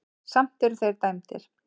Samt eru þeir dæmdir.